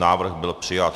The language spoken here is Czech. Návrh byl přijat.